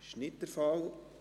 – Dies ist nicht der Fall.